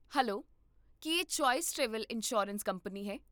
Hello, ਕੀ ਇਹ choice travel insurance company ਹੈ?